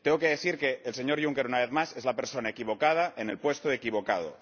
Tengo que decir que el señor Juncker, una vez más, es la persona equivocada, en el puesto equivocado.